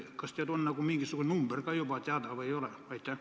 Kas teil on mingisugune number ka juba teada või ei ole?